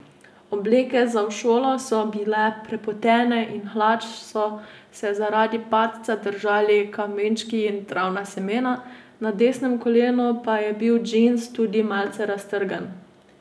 Obleke za v šolo so bile prepotene in hlač so se zaradi padca držali kamenčki in travna semena, na desnem kolenu pa je bil džins tudi malce raztrgan.